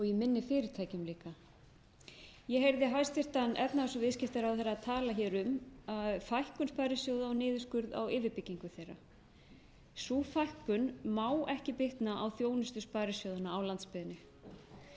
í minni fyrirtækjum líka ég heyrði hæstvirtan efnahags og viðskiptaráðherra tala hér um að fækkun sparisjóða og niðurskurð á yfirbyggingu þeirra sú fækkun má ekki bitna á þjónustu sparisjóðanna á landsbyggðinni ég